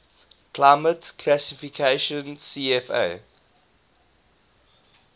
climate classification cfa